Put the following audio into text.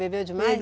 Bebeu demais?